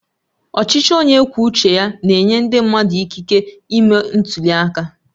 Ọchịchị onye kwuo uche ya na-enye ndị mmadụ ikike ịme ntuli aka